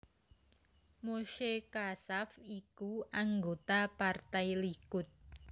Moshe Katsav iku anggota Partai Likud